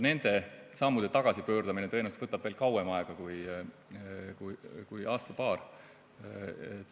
Nende sammude tagasipööramine tõenäoliselt võtab kauem aega kui aasta-paar.